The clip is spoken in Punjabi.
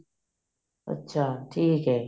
ਅੱਛਾ ਠੀਕ ਹੈ